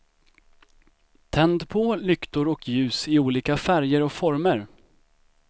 Tänd på lyktor och ljus i olika färger och former.